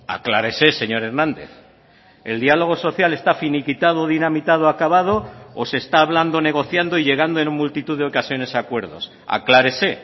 aclárese señor hernández el diálogo social está finiquitado dinamitado acabado o se está hablando negociando y llegando en multitud de ocasiones a acuerdos aclárese